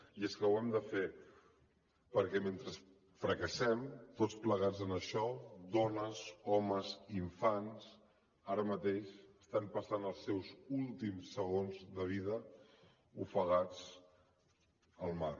i és que ho hem de fer perquè mentre fracassem tots plegats en això dones homes i infants ara mateix estan passant els seus últims segons de vida ofegats al mar